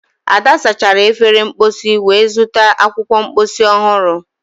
ada sachara efere mposi wee zụta akwụkwọ mposi ọhụrụ